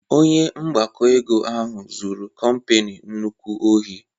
Onye mgbakọ ego ahụ zụrụ kompani nnukwu ohi